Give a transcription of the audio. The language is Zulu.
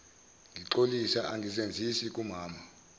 ngixolisa angizenzisi kumama